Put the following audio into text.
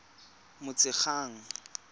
motshegang